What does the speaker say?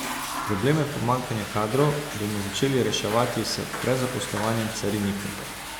Probleme pomanjkanja kadrov bomo začeli reševati s prezaposlovanjem carinikov.